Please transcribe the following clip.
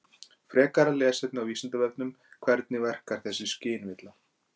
Frekara lesefni á Vísindavefnum Hvernig verkar þessi skynvilla?